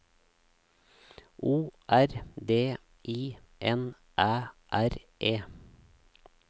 O R D I N Æ R E